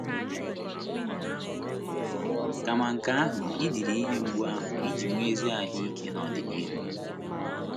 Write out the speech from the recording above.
Kama nke ahụ, i diri ihe mgbu ahụ iji nwee ezi ahụ́ ike n’ọdịnihu.